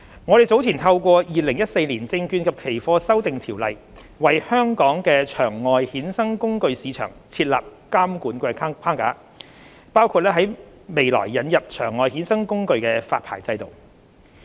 我們早前透過《2014年證券及期貨條例》，為香港的場外衍生工具市場設立監管框架，包括在未來引入場外衍生工具發牌制度。